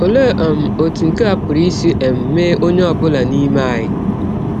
Ọlee um ọtụ nke a pụrụ isi um mee ọnye ọ bụla n’ime anyị?